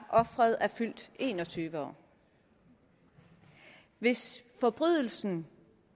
offeret er fyldt en og tyve år hvis forbrydelsen